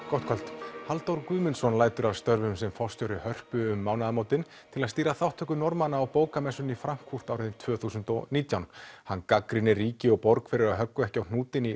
gott kvöld Halldór Guðmundsson lætur af störfum sem forstjóri Hörpu um mánaðamótin til að stýra þátttöku Norðmanna á bókamessunni í Frankfurt árið tvö þúsund og nítján hann gagnrýnir ríki og borg fyrir að höggva ekki á hnútinn í